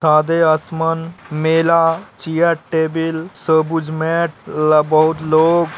सादे आसमान मेला चियर टेबुल सोबुज मेट ल बहुत लोग --